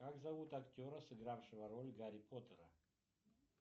как зовут актера сыгравшего роль гарри поттера